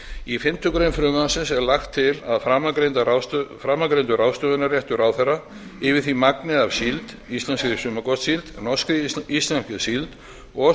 í fimmtu grein frumvarpsins er lagt til að framangreindur ráðstöfunarréttur ráðherra yfir því magni af síld íslenskri sumargotssíld norskri íslenskri síld og